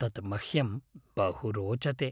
तत् मह्यं बहु रोचते!